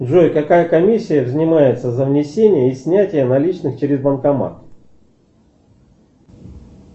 джой какая комиссия взимается за внесение и снятие наличных через банкомат